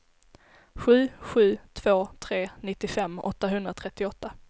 sju sju två tre nittiofem åttahundratrettioåtta